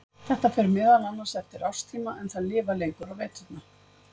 Þetta fer meðal annars eftir árstíma en þær lifa lengur á veturna.